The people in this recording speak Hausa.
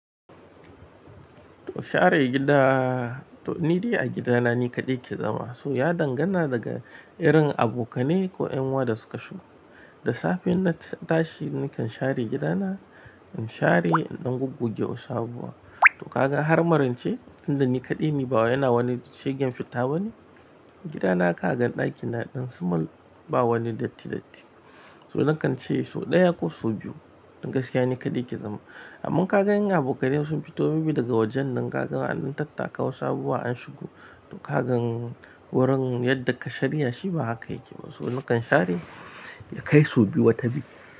To share gida, to ni dai a gidana ni kaɗai ke zama. So ya dangana daga irin abokanai ko 'yanuwa da suka shigo. Da safe in na tashi nakan share gida na, in share, in dan gugguge wasu abuwa. To kaga har marance, tunda ni kaɗai ne bawa yana wani shigen fita bane. Gidana ka ga ɗakina ɗin su mal, ba wani datti datti. So nakan ce so ɗaya ko so biyu, dan gaskiya ni kaɗai ke zama. Amma ka ga in abokanai sun fito biyu daga wajen nan, ka ga waɗannan tattaka wasu abuwa an shigo. To kaga wurin yadda ka shir yashi ba haka yake ba. So nakan share kai so biyu wata biyu.